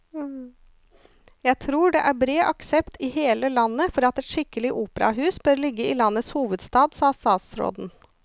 Jeg tror det er bred aksept i hele landet for at et skikkelig operahus bør ligge i landets hovedstad, sa statsråden.